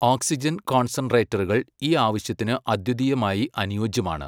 Oxygen കോൺസെൻട്രേറ്ററുകൾ ഈ ആവശ്യത്തിന് അദ്വിതീയമായി അനുയോജ്യമാണ്.